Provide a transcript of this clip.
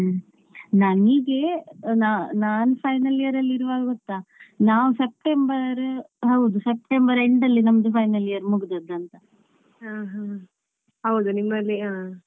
ಹ್ಮ್. ನಾನ್ ಹೀಗೆ ನ ನಾನ್ final year ಅಲ್ಲಿ ಇರುವಾಗ ಗೊತ್ತಾ ನಾವು ಸೆಪ್ಟೆಂಬರ್ ಹೌದು ಸೆಪ್ಟೆಂಬರ್ ಅಲ್ಲಿ ನಮ್ದು final year ಮುಗ್ದದ್ದಾಂತ.